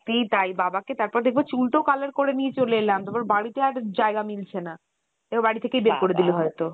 ঠিক তাই বাবা কে তারপর দেখবো চুল তো color করে নিয়ে চলে এলাম তারপর বাড়িতে আর জায়গা মিলছে না এরপর বাড়ি থেকেই বের করে দিলো হয়তো